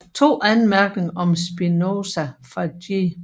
To anmærkninger om Spinoza fra G